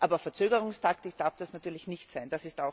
Aber Verzögerungstaktik darf das natürlich nicht sein.